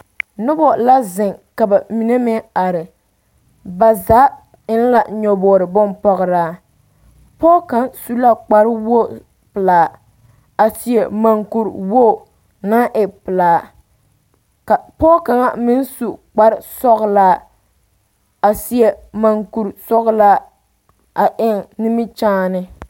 Nobɔ la zeŋ ka ba mine meŋ are ba zaa eŋ la nyobogre bonpɔgraa pɔɔ kaŋ su la kparewoge pelaa a seɛ mankuriwoge naŋ e pelaa ka pɔɔ kaŋa meŋ su kparesɔglaa a seɛ mankurisɔglaa a eŋ nimikyaane.